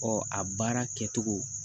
Ɔ a baara kɛcogo